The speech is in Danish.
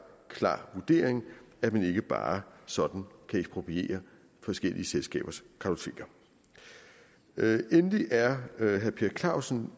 klar vurdering at man ikke bare sådan kan ekspropriere forskellige selskabers kartoteker endelig er herre per clausen